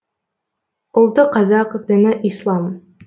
ұлты қазақ діні ислам